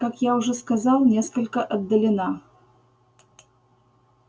как я уже сказал несколько отдалена